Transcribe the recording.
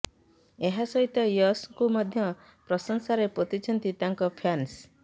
ଏହା ସହିତ ୟଶଙ୍କୁ ମଧ୍ୟ ପ୍ରଶଂସାରେ ପୋତିଛନ୍ତି ତାଙ୍କ ଫ୍ୟାନ୍ସ